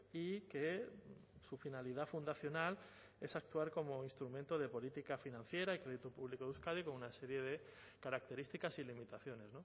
y que su finalidad fundacional es actuar como instrumento de política financiera y crédito público de euskadi con una serie de características y limitaciones